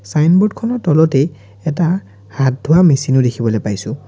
Signboard খনৰ তলতে এটা হাত ধোৱা মেচিন ও দেখিবলৈ পাইছোঁ।